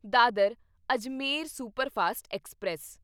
Dadar Ajmer superfast express